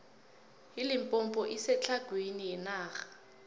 ilimpompo isetlhagwini yenarha